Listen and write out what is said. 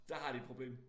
Der har de et problem